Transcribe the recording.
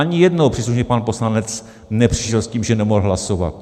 Ani jednou příslušný pan poslanec nepřišel s tím, že nemohl hlasovat.